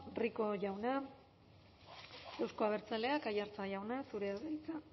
rico jauna euzko abertzaleak aiartza jauna zurea da hitza